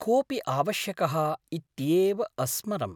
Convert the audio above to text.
कोऽपि आवश्यकः इत्येव अस्मरम्।